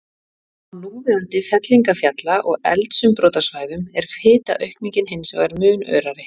Á núverandi fellingafjalla- og eldsumbrotasvæðum er hitaaukningin hins vegar mun örari.